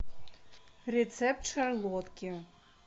рецепт шарлотки